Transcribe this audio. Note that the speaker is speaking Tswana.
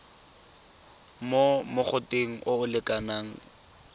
mo mogoteng o o lekanang